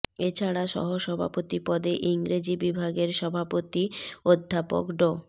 এ ছাড়া সহসভাপতি পদে ইংরেজি বিভাগের সভাপতি অধ্যাপক ড